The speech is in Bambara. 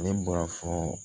Ne b'a fɔ